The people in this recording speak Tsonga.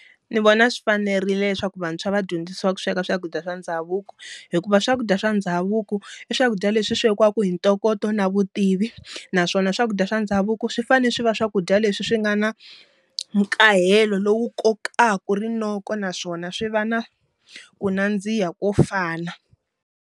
Ni vona swi fanerile leswaku vantshwa va dyondzisiwa ku sweka swakudya swa ndhavuko hikuva swakudya swa ndhavuko, i swakudya leswi swekiwaka hi ntokoto na vutivi naswona swakudya swa ndhavuko swi fanele swi va swakudya leswi swi nga na nkahelo lowu kokaka rinoko naswona swi va na ku nandziha ko fana.